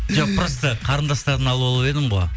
жоқ просто қарындастарын алып алып едім ғой